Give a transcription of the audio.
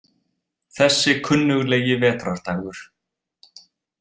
Þessi kunnuglegi vetrardagur.